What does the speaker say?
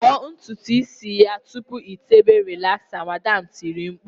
"Vọọ ntutu isi ya tupu ị tébè rịlaxa" Madam tiri mkpu